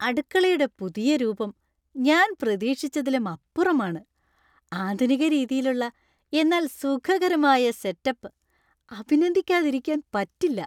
അടുക്കളയുടെ പുതിയ രൂപം ഞാൻ പ്രതീക്ഷിച്ചതിലും അപ്പുറമാണ്; ആധുനികരീതിയിലുള്ള എന്നാൽ സുഖകരമായ ആയ സെറ്റ് അപ്പ് അഭിനന്ദിക്കാതിരിക്കാൻ പറ്റില്ല.